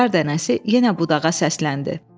Qar dənəsi yenə budağa səsləndi.